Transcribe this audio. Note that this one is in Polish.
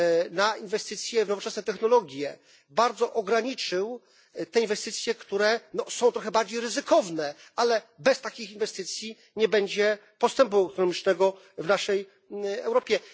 na inwestycje w nowoczesne technologie, bardzo ograniczył te inwestycje, które są trochę bardziej ryzykowne, ale bez takich inwestycji nie będzie postępu ekonomicznego w naszej Europie.